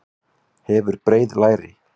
Hefur breið læri.